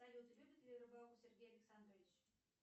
салют любит ли рыбалку сергей александрович